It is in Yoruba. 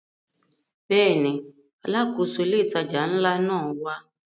Bẹ́ẹ̀ni, Alákóso ilé ìtajà ńlá náà wá